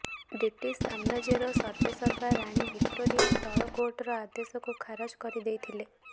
British ସାମ୍ରାଜ୍ୟର ସର୍ବସେର୍ବା ରାଣୀ ଭିକ୍ଟୋରିଆ ତଳ କୋର୍ଟର ଆଦେଶକୁ ଖାରଜ କରିଦେଇଥିଲେ